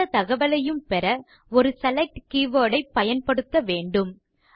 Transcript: எந்த தகவலைப் பெறவும் ஒரு செலக்ட் கீவர்ட் ஐ பயன்படுத்த வேண்டும்